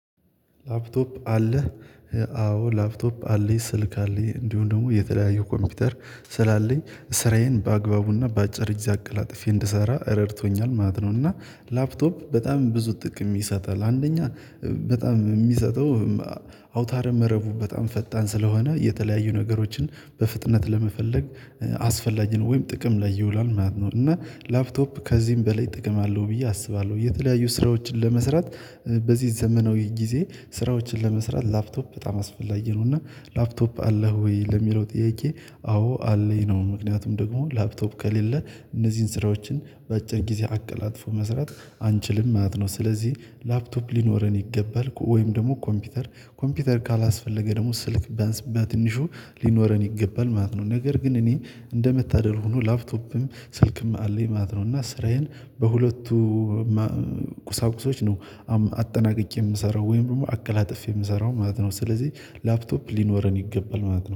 ላፕቶፕ አለህ? አዎ ላፕቶፕ አለኝ፣ ስልክ አለኝ እንዲሁም ደግሞ የተለያዪ ኮምፒውተር ስላለኝ ስራዬን በአግባቡና በአጭር ጊዜ አቀላጥፌ እንድሰራ ረድቶኛል ማለት ነው። እና ላፕቶፕ በጣም ብዙ ጥቅም ይሰጣል። አንደኛ በጣም የሚሰጠው አውታረ መረቡ በጣም ፈጣን ስለሆነ የተለያዩ ነገሮችን በፍጥነት ለመፈለግ አስፈላጊ ነው ወይም ጥቅም ላይ ይውላል ማለት ነው። እና ላፕቶፕ ከዚህም በላይ እጠቀማለሁ ብዬ አስባለሁ። የተለያዩ ስራዎችን ለመስራት በዚህ ዘመናዊ ጊዜ ስራዎችን ለመስራት ላፕቶፕ በጣም አስፈላጊ ነው። እና ላፕቶፕ አለህ ወይ? ለሚለው ጥያቄ አዎ አለኝ ነው። ምክንያቱም ደግሞ ላፕቶፕ ከሌለ እነዚህን ስራዎችን በአጭር ጊዜ አቀላጥፎ መስራት አንችልም ማለት ነው። ስለዚህ ላፕቶፕ ሊኖረን ይገባል ወይም ደግሞ ኮምፒውተር ኮምፒውተር ካላስፈለገ ደግሞ ስልክ ቢያንስ በትንሹ ሊኖረን ይገባል ማለት ነው። ነገር ግን እኔ እንደመታደል ሆኖ ላፕቶፕም ስልክም አለኝ ማለት ነው። እና ስራዬን በሁለቱ ቁሳቁሶች ነው አጠናቅቄ የምሰራው ወይም ደግሞ አቀላጥፌ የምሰራው ማለት ነው። ስለዚህ ላፕቶፕ ሊኖረን ይገባል ማለት ነው።